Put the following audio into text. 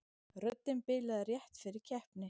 Röddin bilaði rétt fyrir keppni